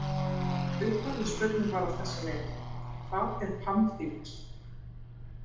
Upphafleg spurning var á þessa leið: Hvað er pamfíll?